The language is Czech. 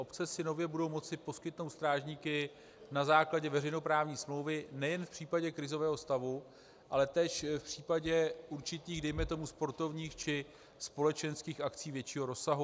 Obce si nově budou moci poskytnout strážníky na základě veřejnoprávní smlouvy nejen v případě krizového stavu, ale též v případě určitých dejme tomu sportovních či společenských akcí většího rozsahu.